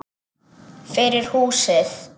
Fyrir húsið.